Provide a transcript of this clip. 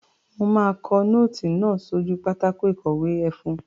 Mo máa kọ nóòtì náà sójú pátákó ìkọ̀wé ẹfun.